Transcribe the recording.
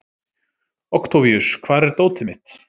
Októvíus, hvar er dótið mitt?